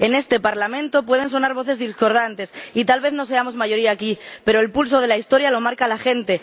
En este Parlamento pueden sonar voces discordantes y tal vez no seamos mayoría aquí, pero el pulso de la Historia lo marca la gente.